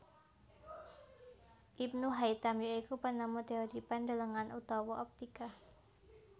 Ibnu Haitam ya iku penemu teori pandelengan utawa optika